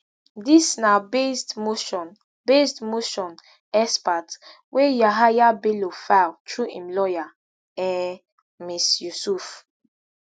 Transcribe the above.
dis na based motion based motion exparte wey yahaya bello file through im lawyer um ms yusuf